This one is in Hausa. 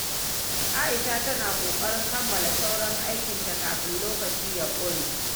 Aisha tana ƙoƙarin kammala sauran aikinta kafin lokaci ya ƙure.